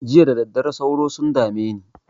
Jiya da daddare sauro sun dame ne.